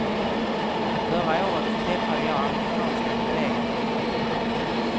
Förra året träffade jag amerikanska kolleger på en konferens.